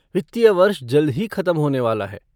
वित्तीय वर्ष जल्द ही खत्म होने वाला है।